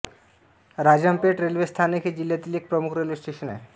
Rajampet railway स्थानक हे जिल्ह्यातील एक प्रमुख रेल्वे स्टेशन आहे